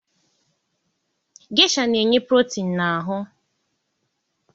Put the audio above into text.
Gesha na-enye protin na ahụ.